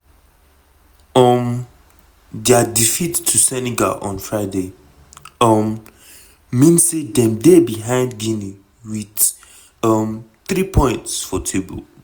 um dia defeat to senegal on friday um mean say dem dey behind guinea wit um three points for table.